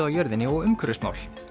á jörðinni og umhverfismál